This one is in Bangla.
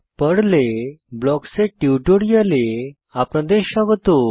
পার্ল পর্ল এ ব্লকস এর টিউটোরিয়ালে আপনাদের স্বাগত